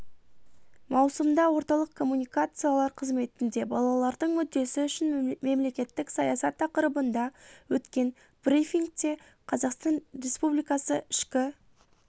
маусымда орталық коммуникациялар қызметінде балалардың мүддесі үшін мемлекеттік саясат тақырыбында өткен брифингте қазақстан республикасы ішкі